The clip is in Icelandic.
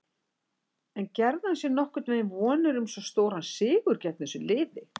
En gerði hann sér nokkuð vonir um svo stóran sigur gegn þessu liði?